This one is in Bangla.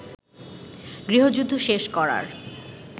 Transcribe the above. গৃহযুদ্ধ শেষ করার